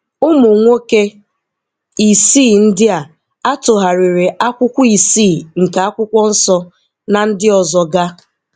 Ụmụnwoke isii ndị a a tụgharịrị akwụkwọ isii nke Akwụkwọ Nsọ na ndị ọzọga.